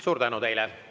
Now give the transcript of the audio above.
Suur tänu teile!